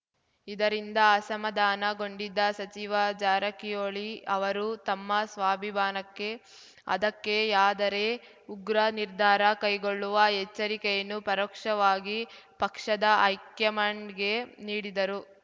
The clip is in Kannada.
ಇದರಿಂದ ಅಸಮಾಧಾನಗೊಂಡಿದ್ದ ಸಚಿವ ಜಾರಕಿಹೊಳಿ ಅವರು ತಮ್ಮ ಸ್ವಾಭಿಮಾನಕ್ಕೆ ಅಧಕ್ಕೆಯಾದರೆ ಉಗ್ರ ನಿರ್ಧಾರ ಕೈಗೊಳ್ಳುವ ಎಚ್ಚರಿಕೆಯನ್ನು ಪರೋಕ್ಷವಾಗಿ ಪಕ್ಷದ ಹೈಕ್ಯಮಾಂಡ್‌ಗೆ ನೀಡಿದರು